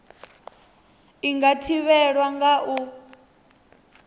i nga thivhelwa nga u